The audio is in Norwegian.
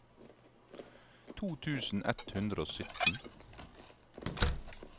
to tusen ett hundre og sytten